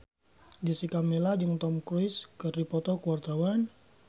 Jessica Milla jeung Tom Cruise keur dipoto ku wartawan